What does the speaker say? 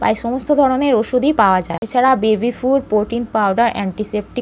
প্রায় সমস্ত ধরণের ওষুধই পাওয়া যায়। এছাড়া baby food protein powder antiseptic.